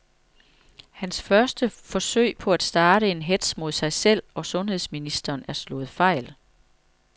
Hans første forsøg på at starte en hetz mod sig selv og sundheds ministeren er slået fejl.